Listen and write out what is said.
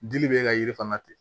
Dili bɛ ka yiri fana ten